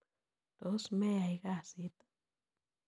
Tos meyai kasit?